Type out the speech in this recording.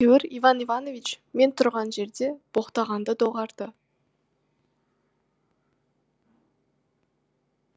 әйтеуір иван иванович мен тұрған жерде боқтағанды доғарды